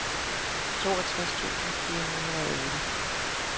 toogtres tusind fire hundrede og otte